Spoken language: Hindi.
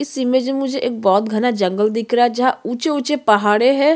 इस इमेज में मुझे एक बहुत घना जंगल दिख रहा जहाँ ऊंचे-ऊंचे पहाड़े है।